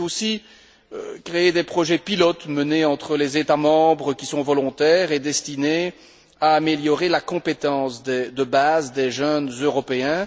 Mais c'est aussi créer des projets pilotes menés entre les États membres qui sont volontaires et destinés à améliorer la compétence de base des jeunes Européens.